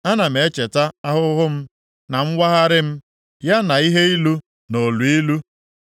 Ana m echeta ahụhụ m, na mwagharị m, ya na ihe ilu na oluilu.